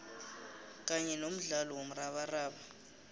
kanye nomdlalo womrabaraba